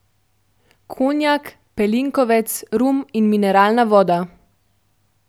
Konjak, pelinkovec, rum in mineralna voda.